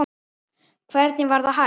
Hvernig var það hægt?